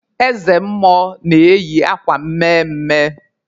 Eze mmụọ na-eyi akwa mme mme.